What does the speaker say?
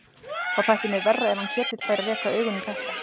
Þá þætti mér verra ef hann Ketill færi að reka augun í þetta.